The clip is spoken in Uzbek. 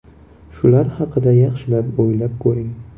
Shular haqida yaxshilab o‘ylab ko‘ring.